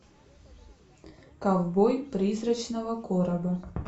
ковбой призрачного короба